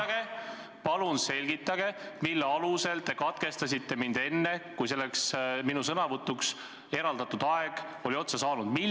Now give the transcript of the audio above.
Palun selgitage, mille alusel te katkestasite mind enne, kui minu sõnavõtuks ette nähtud aeg oli otsa saanud!